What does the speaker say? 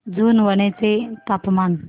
जुनवणे चे तापमान